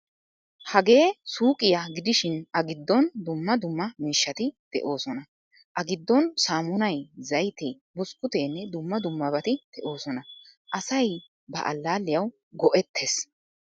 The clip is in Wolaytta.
Hagee suuqiyaa gidishin a gidon dumma dumma miishshati deosona. A gidon saamunay, zaaytte, buskuttenne dumma dummabatti deosona. Asay ba allalliyawu goetees.